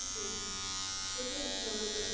Por que que o senhor resolveu